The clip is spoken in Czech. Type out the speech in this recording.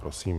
Prosím.